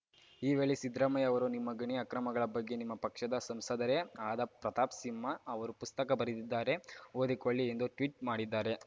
ಈ ವೇಳೆ ಸಿದ್ದರಾಮಯ್ಯ ಅವರು ನಿಮ್ಮ ಗಣಿ ಅಕ್ರಮಗಳ ಬಗ್ಗೆ ನಿಮ್ಮ ಪಕ್ಷದ ಸಂಸದರೇ ಆದ ಪ್ರತಾಪ್‌ಸಿಂಹ ಅವರು ಪುಸ್ತಕ ಬರೆದಿದ್ದಾರೆ ಓದಿಕೊಳ್ಳಿ ಎಂದು ಟ್ವೀಟ್‌ ಮಾಡಿದ್ದಾರೆ